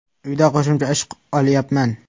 Uyda qo‘shimcha ish olyapman.